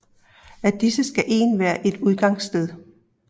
Af disse skal en være et udgangssted